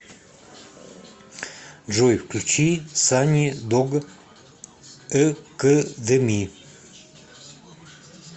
джой включи сани дог экэдеми